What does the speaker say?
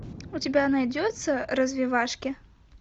у тебя найдется развивашки